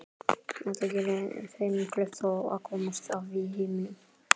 Þetta geri þeim kleift að komast af í heiminum.